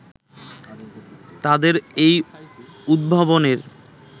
তাদের এই উদ্ভাবনের